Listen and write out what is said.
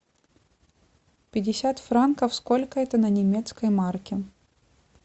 пятьдесят франков сколько это на немецкой марке